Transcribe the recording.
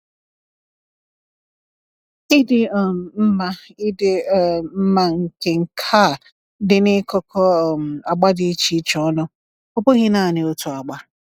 Ịdị um mma Ịdị um mma nke nka dị n’ịkụkọ um agba di iche iche ọnụ, ọ bụghị naanị otu agba.